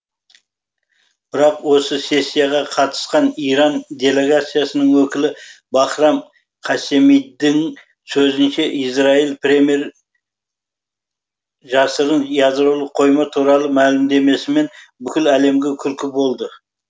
бірақ осы сессияға қатысқан иран делегациясының өкілі бахрам қассемидің сөзінше израиль премьер жасырын ядролық қойма туралы мәлімдемесімен бүкіл әлемге күлкі болды